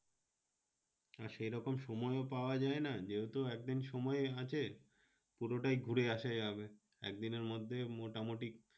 আর সেরকম সময়ও পাওয়া যায় না। যেহেতু একদিন সময় আছে পুরোটাই ঘুরে আসা যাবে। একদিনের মধ্যেই মোটামুটি